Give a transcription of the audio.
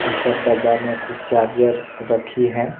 ऊपर डब्बा में कुछ चार्जर रखी है।